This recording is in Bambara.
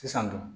Sisan nɔ